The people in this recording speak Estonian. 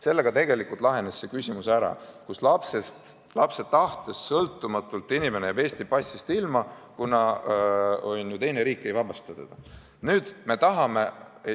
Sellega tegelikult lahenes probleem, et lapse tahtest sõltumatult jääb ta Eesti passist ilma, kuna teine riik ei vabasta teda oma kodakondsusest.